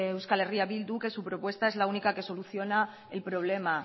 eh bildu que su propuesta es la única que soluciona el problema